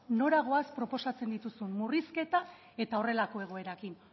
nora goaz proposatzen dituzun murrizketa eta horrelako egoerarekin